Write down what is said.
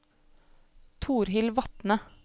Torhild Vatne